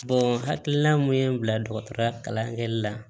hakilina mun ye n bila dɔgɔtɔrɔya kalan kɛli la